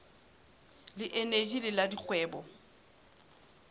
le eneji le la dikgwebo